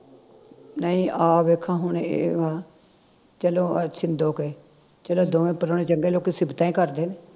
ਨਹੀਂ ਆ ਵੇਖਾਂ ਹੁਣ ਇਹ ਵਾ ਚਲੋ ਆ ਛਿੰਦੋ ਕੇ ਚਲੋ ਦੋਵੇ ਪ੍ਰਾਹੁਣੇ ਚੰਗੇ ਲੋਕੀ ਸਿਫਤਾਂ ਈ ਕਰਦੇ ਨੇ